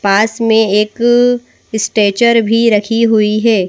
पास में एक स्टेचर भी रखी हुई है।